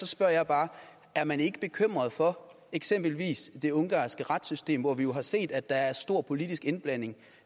spørger jeg bare er man ikke bekymret for eksempelvis det ungarske retssystem hvor vi jo har set at der er stor politisk indblanding